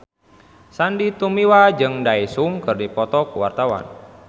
Sandy Tumiwa jeung Daesung keur dipoto ku wartawan